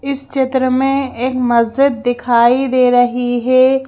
इस चित्र में एक मस्जिद दिखाई दे रही है।